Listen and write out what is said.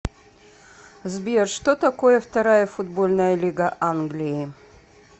сбер что такое вторая футбольная лига англии